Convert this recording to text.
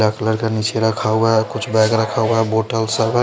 dark colour का नीचे रखा हुआ है और कुछ बैग रखा हुआ है बॉटल सब है --